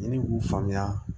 N'i k'u faamuya